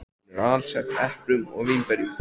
Hún er alsett eplum og vínberjum.